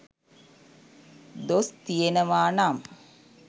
දොස් තියෙනවා නම්